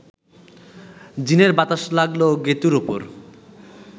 জিনের বাতাস লাগল গেঁতুর ওপর